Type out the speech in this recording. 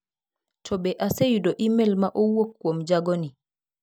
To be aseyudo imel ma owuok kuom jagoni?